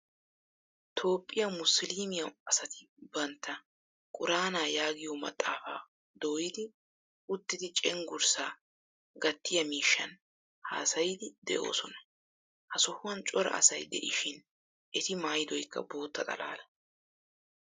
Toophphiyaa musulumiyaa asati bantta quraana yaagiyo maxaafaa dooyidi uttidi cenggurssa gatiyaa miishshan haasayidi desona. Ha sohuwan cora asay deishin etti maayidoykka boottaa xalala.